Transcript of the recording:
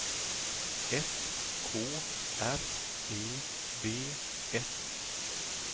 S K R E V S